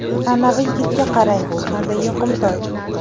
Anavi yigitga qarang, qanday yoqimtoy.